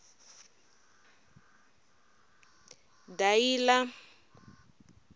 dayila